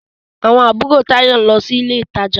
Àwọn àbúrò Táyọ̀ ń lọ sí ilé ìtajà.